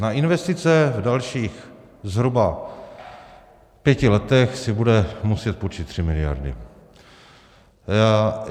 Na investice v dalších zhruba pěti letech si bude muset půjčit 3 miliardy.